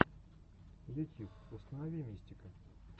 ютьюб установи мистика